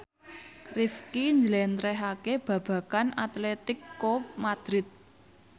Rifqi njlentrehake babagan Atletico Madrid